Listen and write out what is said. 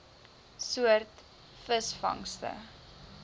soort visvangste